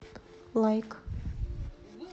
лайк